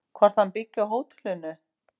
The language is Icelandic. Hvort hann byggi á hótelinu?